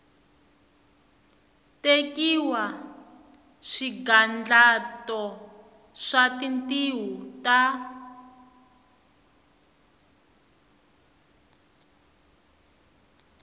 tekiwa swigandlato swa tintiho ta